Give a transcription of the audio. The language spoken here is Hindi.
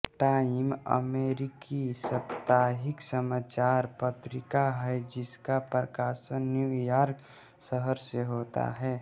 टाइम अमेरिकी साप्ताहिक समाचार पत्रिका है जिसका प्रकाशन न्यू यॉर्क शहर से होता है